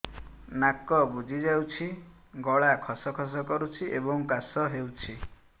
ନାକ ବୁଜି ଯାଉଛି ଗଳା ଖସ ଖସ କରୁଛି ଏବଂ କାଶ ହେଉଛି